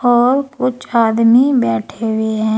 और कुछ आदमी बैठे हुए हैं।